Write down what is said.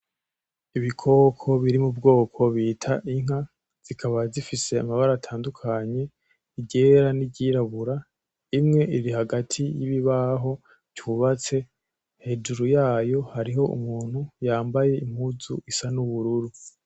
Ibikoko biri mu bwoko bita inka, zikaba zifise amabara atandukanye; iryera n'iryirabura, imwe iri hagati yibibabaho cubatse, hejuru yayo hariho umuntu yambaye impuzu isa n'ubururu.